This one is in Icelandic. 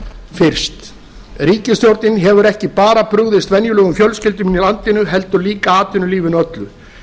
fyrst ríkisstjórnin hefur ekki bara brugðist venjulegum fjölskyldum í landinu heldur líka atvinnulífinu öllu